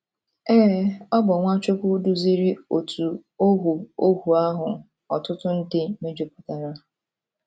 Ee, ọ bụ Nwachukwu duziri òtù ohu ohu ahụ ọtụtụ ndị mejupụtara.